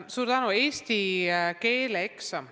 Suur tänu!